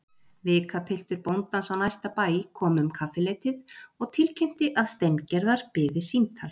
Vikapiltur bóndans á næsta bæ kom um kaffileytið og tilkynnti að Steingerðar biði símtal.